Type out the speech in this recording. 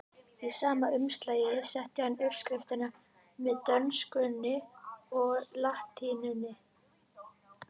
Í sama umslag setti hann uppskriftina með dönskunni og latínunni.